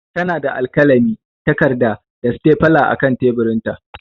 Tana da alkalami, takarda, da stapler a kan teburinta.